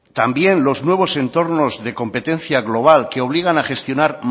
también los nuevos entornos de competencia global que obligan a gestionar